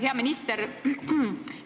Hea minister!